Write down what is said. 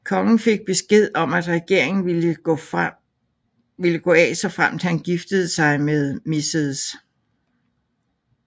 Kongen fik besked om at regeringen ville gå af såfremt han giftede sig med Mrs